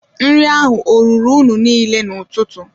Nri ahụ ọ ruru unu niile n'ụtụtụ?